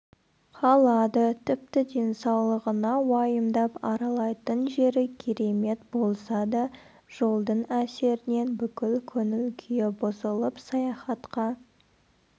қалады тіпті денсаулығына уайымдап аралайтын жері керемет болса да жолдың әсерінен бүкіл көңіл-күйі бұзылып саяхатқа